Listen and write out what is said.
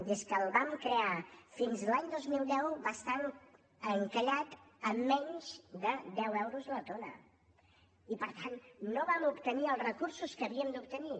des que el vam crear fins a l’any dos mil deu va estar encallat en menys de deu euros la tona i per tant no vam obtenir els recursos que havíem d’obtenir